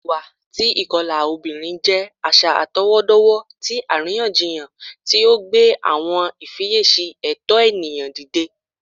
Iwa ti ikọla obinrin jẹ aṣa atọwọdọwọ ti ariyanjiyan ti o gbe awọn ifiyesi ẹtọ eniyan dide